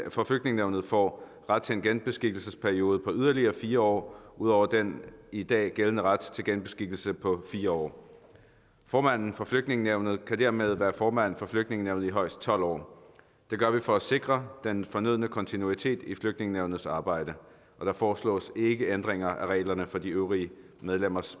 for flygtningenævnet får ret til en genbeskikkelsesperiode på yderligere fire år ud over den i dag gældende ret til genbeskikkelse på fire år formanden for flygtningenævnet kan dermed være formand for flygtningenævnet i højst tolv år det gør vi for at sikre den fornødne kontinuitet i flygtningenævnets arbejde og der foreslås ikke ændringer af reglerne for de øvrige medlemmers